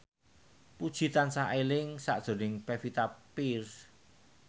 Puji tansah eling sakjroning Pevita Pearce